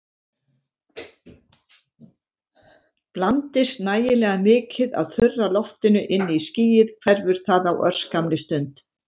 Blandist nægilega mikið af þurra loftinu inn í skýið hverfur það á örskammri stund.